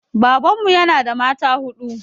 Babanmu ya na da mata huɗu